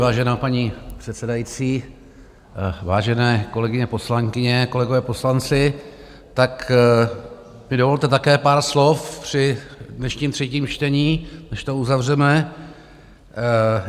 Vážená paní předsedající, vážené kolegyně poslankyně, kolegové poslanci, tak mi dovolte také pár slov při dnešním třetím čtení, než to uzavřeme.